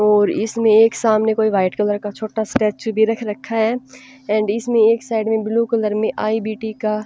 और इसमें एक सामने कोई वाइट कलर का छोटा स्टैचू भी रख रखा है एंड इसमें एक साइड में ब्लू कलर में आईबीटी का --